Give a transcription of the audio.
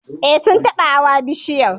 Eh, Sun taba hawa bishiyar